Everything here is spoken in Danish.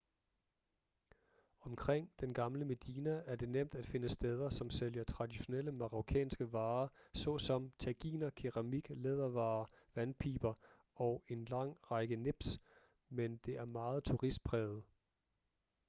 omkring den gamle medina er det nemt at finde steder som sælger traditionelle marokkanske varer såsom taginer keramik lædervarer vandpiber og en lang række nips men det er meget turistpræget